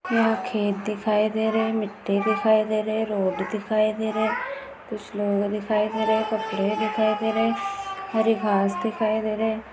यहा खेत दिखाई दे रहे मिट्टी दिखाई दे रहे रोड दिखाई दे रहे कुछ लोग दिखाई दे रहे कपडे दिखाई दे रहे हरिघास दिखाई दे रहे--